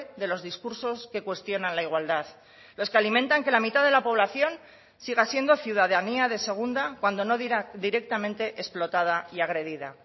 de los discursos que cuestionan la igualdad los que alimentan que la mitad de la población siga siendo ciudadanía de segunda cuando no dirá directamente explotada y agredida